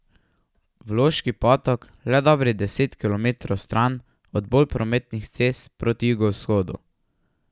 V Loški Potok le dobrih deset kilometrov stran od bolj prometnih cest proti jugovzhodu.